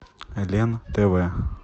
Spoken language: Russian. лен тв